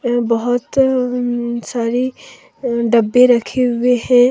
बहोत सारी डब्बे रखे हुए हैं।